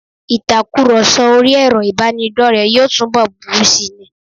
Ìtakurọ̀sọ orí ẹrọ ìbánidọ́rẹ̀ẹ́ yóò túnbọ̀ burú sí ni.